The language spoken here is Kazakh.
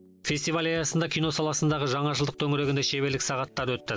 фестиваль аясында киносаласындағы жаңашылдық төңірегінде шеберлік сағаттары өтті